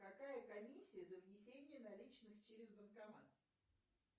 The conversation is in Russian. какая комиссия за внесение наличных через банкомат